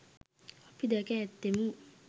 අපි දැක ඇත්තෙමු